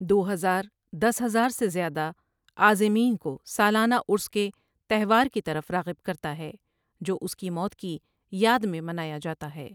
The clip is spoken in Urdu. دو ہزار دس ہزار سے زیادہ عازمین کو سالانہ عرس کے تہوار کی طرف راغب کرتا ہے جو اس کی موت کی یاد میں منایا جاتا ہے ۔